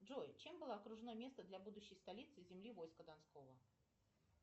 джой чем было окружено место для будущей столицы земли войска донского